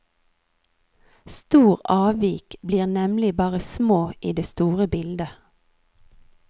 Stor avvik blir nemlig bare små i det store bildet.